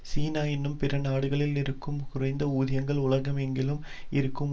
சீனா இன்னும் பிற நாடுகளில் இருக்கும் குறைந்த ஊதியங்கள் உலகெங்கிலும் இருக்கும்